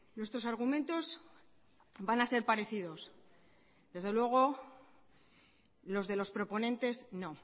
nuestros argumentos van a ser parecidos desde luego los de los proponentes no